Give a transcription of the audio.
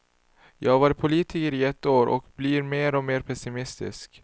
Jag har varit politiker i ett år och blir mer och mer pessimistisk.